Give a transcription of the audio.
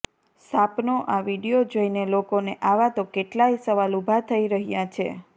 સાપનો આ વીડિયો જોઈને લોકોને આવા તો કેટલાંય સવાલ ઉભા થઈ રહ્યા છે